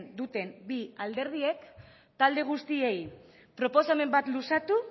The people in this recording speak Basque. duten bi alderdiek talde guztiei proposamen bat luzatu